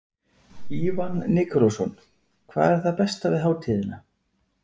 Ívan Nikulásson: Hvað er það besta við hátíðina?